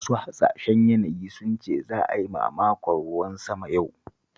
Masu hasashen yanayi sun ce za a yi mamakon ruwan sama yau